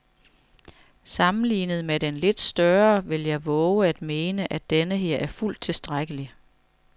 Sammenlignet med den lidt større vil jeg vove at mene, at denneher er fuldt tilstrækkelig.